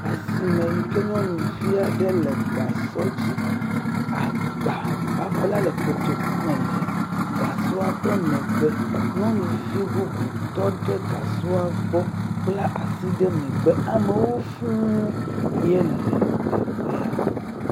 Asime yi ke nyɔnuvi aɖe le gasɔ dzi agba babla le gasɔ le ƒe megbe, nyɔnuvi bubu tɔ ɖe gasɔ la gbɔ bla asi ɖe megbe, amewo fũu ye la teƒe ya.